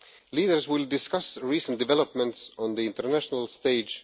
Leaders will discuss recent developments on the international stage.